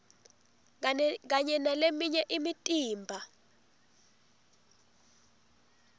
kanye naleminye imitimba